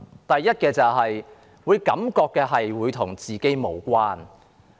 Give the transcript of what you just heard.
第一，市民感覺預算案與自己無關。